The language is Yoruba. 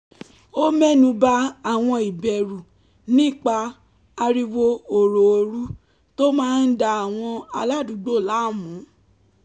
ó mẹ́nu ba àwọn ìbẹ̀rù nípa ariwo òròòru tó máa ń da àwọn aládùúgbò láàmú